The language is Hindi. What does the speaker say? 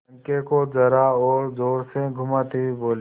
पंखे को जरा और जोर से घुमाती हुई बोली